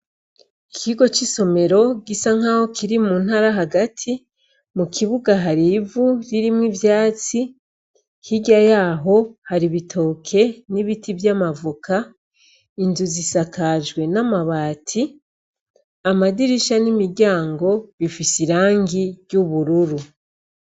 Ikigo c'isomero gisa nkaho kiri muntara hagati, mukibuga har'ivu ririmw'ivyatsi hirya yaho har'ibitoke n'ibiti vy'amavoka ,inzu zisakajwe n'amabati. Amadirisha n'imiryango bifise irangi ry'ubururu.